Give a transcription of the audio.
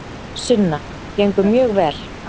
Sunna: Gengur mjög vel.